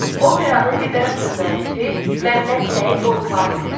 Operanın libretto müəllifi Məmməd Səid Ordubadidir.